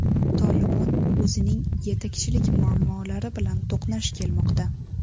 Tolibon o‘zining yetakchilik muammolari bilan to‘qnash kelmoqda.